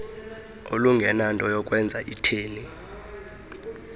olungenanto yakwenza itheni